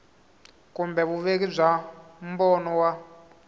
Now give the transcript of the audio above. kumbe vuveki bya mbono wa